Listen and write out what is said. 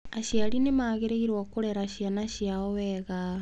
Aciari nĩ magĩrĩirũo kũrera ciana ciao wega.